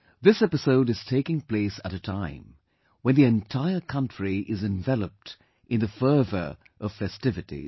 This episode is taking place at a time when the entire country is enveloped in the fervour of festivities